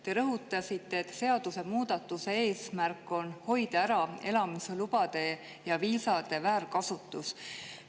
Te rõhutasite, et seadusemuudatuse eesmärk on hoida ära elamislubade ja viisade väärkasutus.